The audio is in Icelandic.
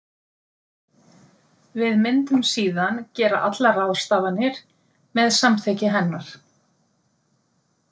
Við myndum síðan gera allar ráðstafanir með samþykki hennar.